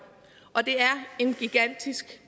og det er en gigantisk